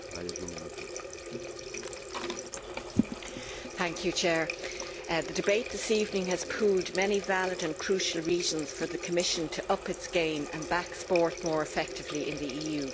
Mr President, the debate this evening has pooled many valid and crucial reasons for the Commission to up its game and back sport more effectively in the EU.